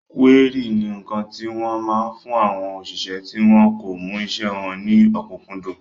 Kúérì ni ǹkan tí wọ́n máa ń fún àwọn òṣìṣẹ́ tí wọn kò mú isẹ́ wọn ní ọ̀kúnkúndùn